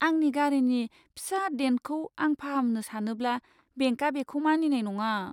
आंनि गारिनि फिसा डेन्टखौ आं फाहामनो सानोब्ला बेंकआ बेखौ मानिनाय नङा।